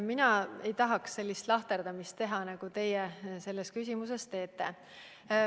Mina ei tahaks sellist lahterdamist teha, nagu teie selles küsimuses tegite.